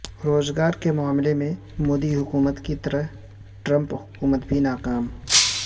روزگار کے معاملہ میں مودی حکومت کی طرح ٹرمپ حکومت بھی ناکام